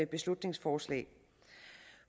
beslutningsforslag